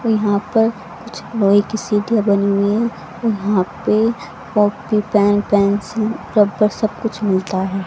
यहां पर कुछ लोहे की सीढ़ियां बनी हुई है और वहां पे कॉपी पेन पेंसिल रबर सब कुछ मिलता है।